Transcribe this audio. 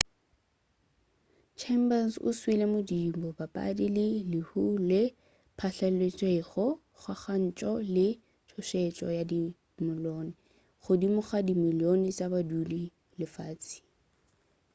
chambers o suile modimo mabapi le lehu leo le phatlaletšego kgakantšho le tšhošetšo ya dimilione godimo ga dimilione tša badudi ba lefase